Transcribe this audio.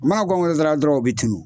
Mana gɔngeredara dɔrɔn u be tunu